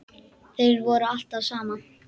Þeir voru alltaf saman.